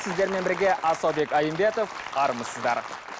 сіздермен бірге асаубек айымбетов армысыздар